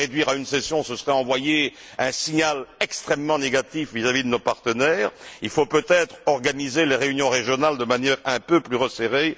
Les réduire à une session, ce serait envoyer un signal extrêmement négatif à nos partenaires. Il faut peut être organiser les réunions régionales de manière un peu plus resserrée